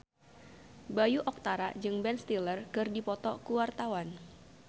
Bayu Octara jeung Ben Stiller keur dipoto ku wartawan